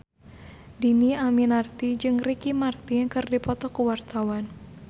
Dhini Aminarti jeung Ricky Martin keur dipoto ku wartawan